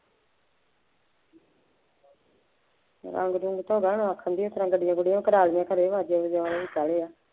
ਰੰਗ ਰੁੰਗ ਤੋਂ ਬਾਅਦ ਆਖਣਗੇ ਇਸ ਤਰ੍ਹਾਂ ਗੱਡੀਆਂ ਗੁੱਡੀਆਂ ਭਰਾ ਲਈਆਂ